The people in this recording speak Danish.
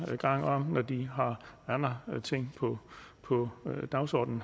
gang når de har andre ting på på dagsordenen